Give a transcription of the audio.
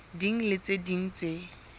ding le tse ding tse